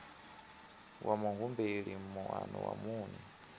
wa muhumbeli moano wa muṋe